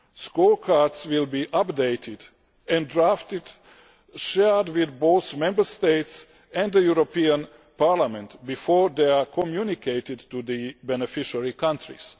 Scorecards will be updated and drafted, shared with both Member States and the European Parliament before they are communicated to the beneficiary countries.